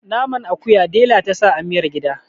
naman akuya dela ta sa amiyar gida